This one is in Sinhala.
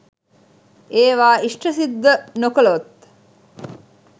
ඒවා ඉෂ්ඨ සිද්ධ නොකළොත්